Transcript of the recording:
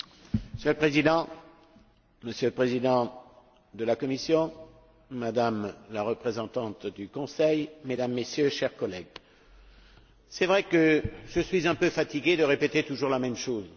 Monsieur le Président, Monsieur le Président de la Commission, Madame la représentante du Conseil, Mesdames et Messieurs, chers collègues, c'est vrai que je suis un peu fatigué de répéter toujours la même chose.